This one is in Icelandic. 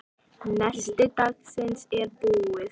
Nesti dagsins er búið.